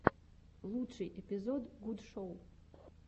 лучший эпизод гуд шоу